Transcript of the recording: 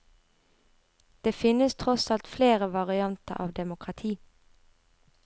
Det finnes tross alt flere varianter av demokrati.